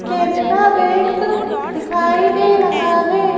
Canara bank दिखाई दे रहा है।